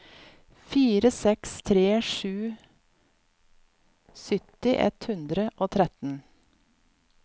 fire seks tre sju sytti ett hundre og tretten